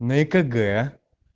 на экг